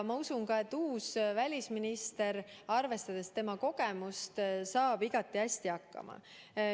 Ma usun ka, et uus välisminister, arvestades tema kogemust, saab igati hästi hakkama.